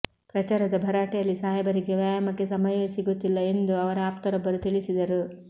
ಪ್ರಚಾರದ ಭರಾಟೆಯಲ್ಲಿ ಸಾಹೇಬರಿಗೆ ವ್ಯಾಯಾಮಕ್ಕೆ ಸಮಯವೇ ಸಿಗುತ್ತಿಲ್ಲ ಎಂದು ಅವರ ಆಪ್ತರೊಬ್ಬರು ತಿಳಿಸಿದರು